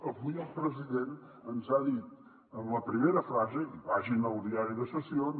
avui el president ens ha dit en la primera frase i vagin al diari de sessions